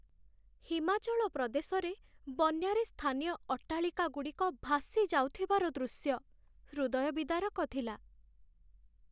ହିମାଚଳ ପ୍ରଦେଶରେ ବନ୍ୟାରେ ସ୍ଥାନୀୟ ଅଟ୍ଟାଳିକାଗୁଡ଼ିକ ଭାସିଯାଉଥିବାର ଦୃଶ୍ୟ ହୃଦୟ ବିଦାରକ ଥିଲା।